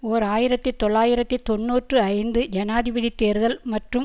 ஓர் ஆயிரத்தி தொள்ளாயிரத்தி தொன்னூற்றி ஐந்து ஜனாதிபதி தேர்தல் மற்றும்